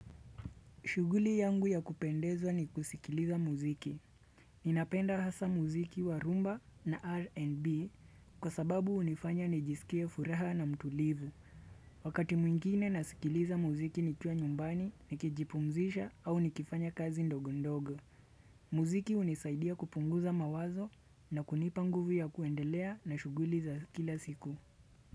Shughuli yangu ya kupendezwa ni kusikiliza muziki. Ninapenda hasa muziki wa rumba na R&B kwa sababu hunifanya nijisikie furaha na mtulivu. Wakati mwingine nasikiliza muziki nikiwa nyumbani, nikijipumzisha au nikifanya kazi ndogo ndogo. Muziki hunisaidia kupunguza mawazo na kunipa nguvu ya kuendelea na shughuli za kila siku.